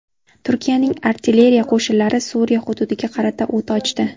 Turkiyaning artilleriya qo‘shinlari Suriya hududiga qarata o‘t ochdi.